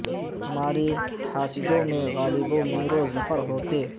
ہمارے حاسدوں میں غالب و میر و ظفر ہوتے